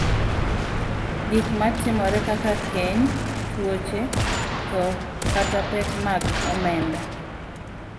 Gik matimore kaka keny, tuoche, tho, kata pek mag omenda .